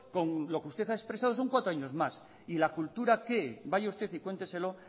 con lo que usted ha expresado son cuatro años más y la cultura qué vaya usted y cuénteselo